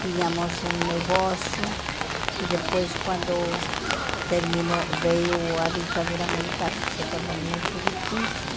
Tínhamos um negócio e depois quando terminou, veio a ditadura militar, se tornou muito difícil.